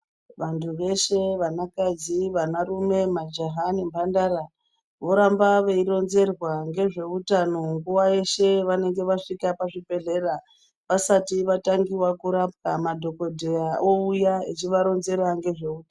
Vantu veshe vana kadzi vana rume majaha nemhandara voramba veironzerwa ngezveutano nguwa yeshe yavanenge vasvika pachibhedhleya vasati vatangiwa kurapwa madhokodheya ouya echivaronzera ngezveu.